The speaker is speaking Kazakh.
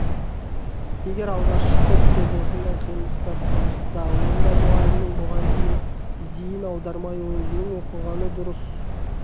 егер алғашқы сөз осындай қиындықтар туғызса онда мұғалімнің бұған зейін аудармай өзінің оқығаны дұрыс